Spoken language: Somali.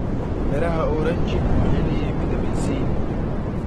Midhaha oranji waxay leeyihiin fitamiin C.